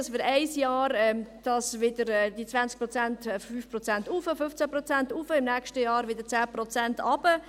dass wir bei diesen 20 Prozent im einen Jahr um 5 Prozent hochgehen, um 15 Prozent hochgehen, im nächsten Jahr wieder um 10 Prozent runter.